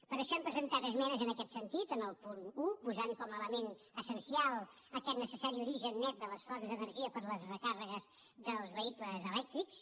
per això hem presentat esmenes en aquest sentit en el punt un posant hi com a element essencial aquest necessari origen net de les fonts d’energia per a les recàrregues dels vehicles elèctrics